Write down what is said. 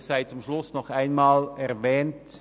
Es sei zum Schluss noch einmal erwähnt: